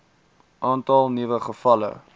aantal nuwe gevalle